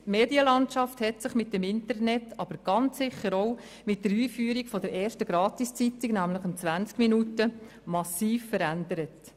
Die Medienlandschaft hat sich mit dem Internet, aber ganz sicher auch mit der Einführung der ersten Gratiszeitung «20 Minuten» massiv verändert.